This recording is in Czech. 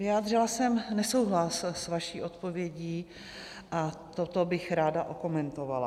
Vyjádřila jsem nesouhlas s vaší odpovědí a toto bych ráda okomentovala.